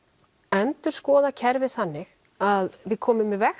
endurskoðað kerfið þannig að við komum í veg